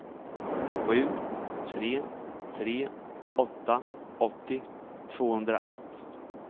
sju tre tre åtta åttio tvåhundraett